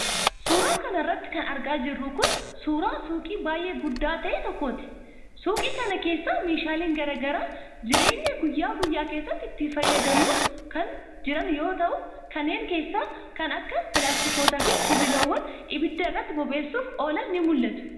Suura kana irratti kan argaa jirru kun, suura suuqii baay'ee guddaa ta'e tokkooti. Suuqii kana keessa meeshaaleen garaa garaa jireenya guyyaa guyyaa keessatti itti fayyadamnu kan jiran yoo ta'u, kanneen keessaa kan akka pilaastikootaa fi sibiilonni ibidda irratti bobeessuuf oolan ni mu'atu.